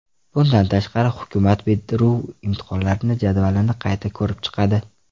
Bundan tashqari, hukumat bitiruv imtihonlari jadvalini qayta ko‘rib chiqadi.